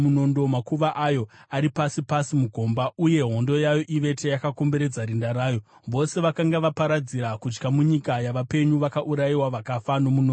Makuva ayo ari pasi pasi mugomba uye hondo yayo ivete yakakomberedza rinda rayo. Vose vakanga vaparadzira kutya munyika yavapenyu vakaurayiwa vakafa nomunondo.